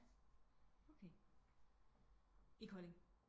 Okay i Kolding